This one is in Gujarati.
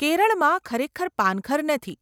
કેરળમાં ખરેખર પાનખર નથી,